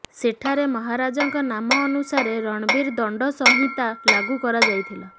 ସେଠାରେ ମହାରାଜାଙ୍କ ନାମ ଅନୁସାରେ ରଣବୀର ଦଣ୍ଡ ସଂହିତା ଲାଗୁ କରାଯାଇଥିଲା